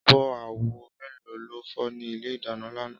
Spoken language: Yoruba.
Ábò áwò méló ló fò ni ilé idàná làná?